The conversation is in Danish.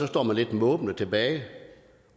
står man lidt måbende tilbage